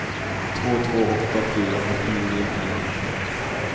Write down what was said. två två åtta fyra fyrtionio fyrahundrafemtioett